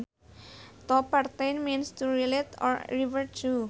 To pertain means to relate or refer to